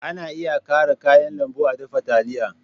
Ana iya ƙara kayan lambu a dafa taliya.